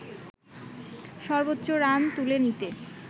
সর্বোচ্চ রান তুলে নিতে